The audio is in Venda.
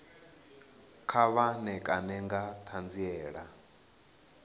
kha vha ṋekane nga ṱhanziela